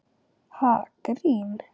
Ha, grín?